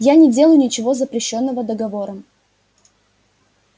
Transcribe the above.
я не делаю ничего запрещённого договором